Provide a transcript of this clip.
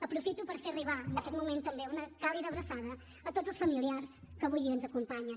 aprofito per fer arribar en aquest moment també una càlida abraçada a tots els familiars que avui ens acompanyen